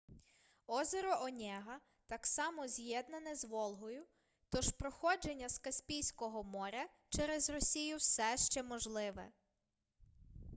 озеро онєга так само з'єднане з волгою тож проходження з каспійського моря через росію все ще можливе